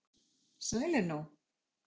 sælir nú